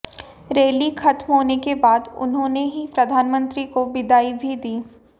rally खत्म होने के बाद उन्होंने ही प्रधानमंत्री को विदाई भी दी